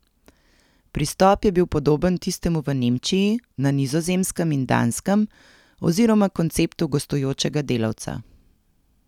Pristop je bil podoben tistemu v Nemčiji, na Nizozemskem in Danskem, oziroma konceptu gostujočega delavca.